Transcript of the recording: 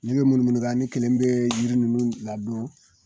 Ne be munumunu ka ne kelen be yiri nunnu ladon